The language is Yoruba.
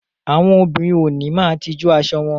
Àwọn òbinrín ó ni máà tijú aṣọ wọn